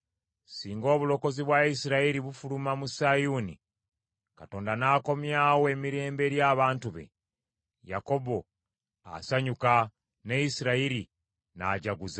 Singa obulokozi bwa Isirayiri bufuluma mu Sayuuni, Katonda n’akomyawo emirembe eri abantu be, Yakobo asanyuka ne Isirayiri n’ajaguza.